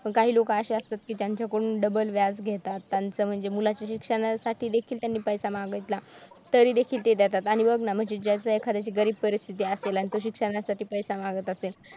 पण काही लोक असे असतात की जे त्यांच्याकडून double व्याज घेतात त्यांच म्हणजे मुलाच्या शिक्षणासाठी देखील त्यांनी पैसा मागितला तरी देखील देतात आणि बघ ना ज्याचं एखाद्याची गरीब परिस्थिती असेल आणि तो शिक्षणासाठी पैसा मागत असेल